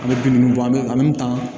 An bɛ bin ninnu bɔ an bɛ an bɛ tan